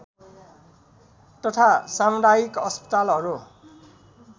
तथा सामुदायिक अस्पतालहरू